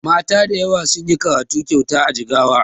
Mata dayawa sunyi karatu kyauta a jigawa